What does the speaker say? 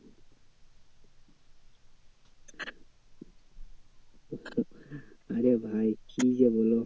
আরে ভাই কি যে বলো?